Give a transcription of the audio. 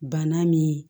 Bana min